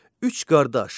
Üç qardaş.